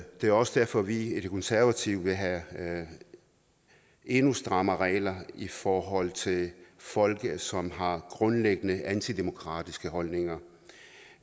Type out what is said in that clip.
det er også derfor at vi i de konservative vil have endnu strammere regler i forhold til folk som har grundlæggende antidemokratiske holdninger